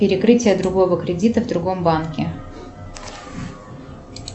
перекрытие другого кредита в другом банке